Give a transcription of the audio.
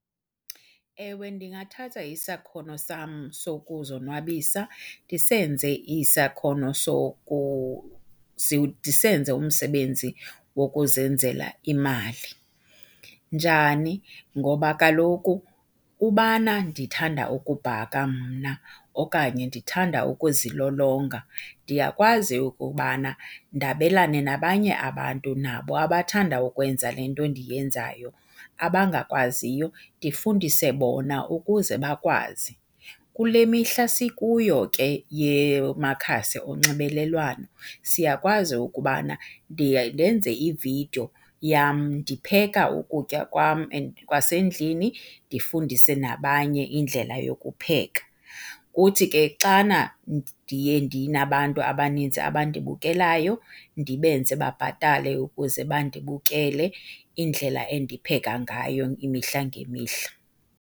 Ewe, ndingathatha isakhono sam sokuzonwabisa ndisenze isakhono , ndisenze umsebenzi wokuzenzela imali. Njani? Ngoba kaloku ubana ndithanda ukubhaka mna okanye ndithanda ukuzilolonga ndiyakwazi ukubana ndabelane nabanye abantu nabo abathanda ukwenza le nto ndiyenzayo abangakwaziyo ndifundise bona ukuze bakwazi. Kule mihla sikuyo ke yamakhasi onxibelelwano siyakwazi ukubana ndiye ndenze ividiyo yam ndipheka ukutya kwam kwasendlini ndifundise nabanye indlela yokupheka. Kuthi ke xana ndiye ndinabantu abanintsi abandibukelayo ndibenze babhatale ukuze bandibukele indlela endipheka ngayo imihla ngemihla.